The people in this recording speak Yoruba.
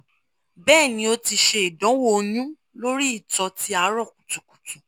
bẹẹni o ti ṣe idanwo oyun lori itọ ti arọ kutukutu